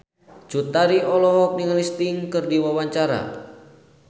Cut Tari olohok ningali Sting keur diwawancara